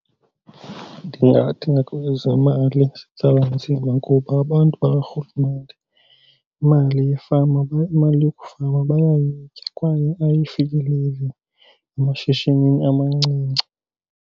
Ndingathi ngakwezemali sitsala nzima kuba abantu bakaRhulumente imali yefama, imali yokufama bayayitya kwaye ayifikeleli emashishinini amancinci.